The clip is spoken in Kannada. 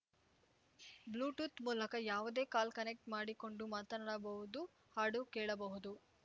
ಬ್ಲೂಟೂತ್‌ ಮೂಲಕ ಯಾವುದೇ ಕಾಲ್‌ ಕನೆಕ್ಟ್ ಮಾಡಿಕೊಂಡು ಮಾತನಾಡಬಹುದು ಹಾಡು ಕೇಳಬಹುದು